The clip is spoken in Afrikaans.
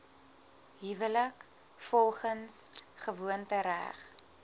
huwelik volgens gewoontereg